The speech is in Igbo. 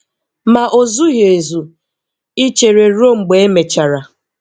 Ma o zughị ezu ichere ruo mgbe e mechara.